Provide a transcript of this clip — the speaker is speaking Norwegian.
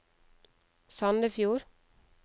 Sandefjord